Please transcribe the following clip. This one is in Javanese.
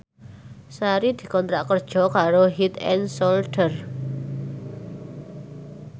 Sari dikontrak kerja karo Head and Shoulder